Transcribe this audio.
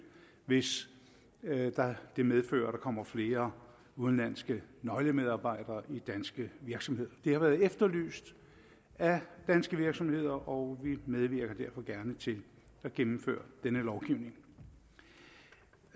hvis det medfører at der kommer flere udenlandske nøglemedarbejdere til danske virksomheder det har været efterlyst af danske virksomheder og vi medvirker derfor gerne til at gennemføre denne lovgivning